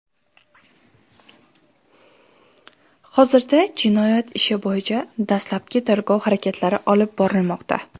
Hozirda jinoyat ishi bo‘yicha dastlabki tergov harakatlari olib borilmoqda.